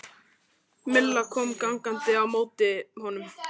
Milla kom gangandi á móti honum.